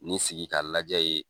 Ni sigi ka lajɛ yen